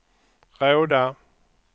Råda